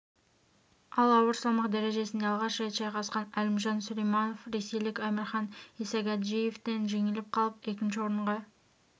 ал ауыр салмақ дәрежесінде алғаш рет шайқасқан әлімжан сүлейманов ресейлік амирхан исагаджиевтен жеңіліп қалып екінші орынға